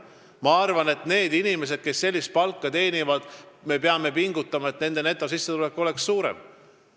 Ma arvan, et me peame pingutama, et sellise palga teenijate netosissetulek oleks suurem.